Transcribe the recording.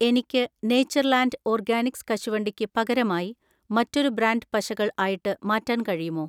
എനിക്ക് Natureland Organics കശുവണ്ടിക്ക് പകരമായി മറ്റൊരു ബ്രാൻഡ് പശകൾ ആയിട്ട് മാറ്റാൻ കഴിയുമോ?